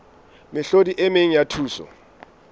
mehlodi e meng ya thuso